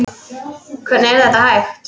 Hvernig er þetta hægt?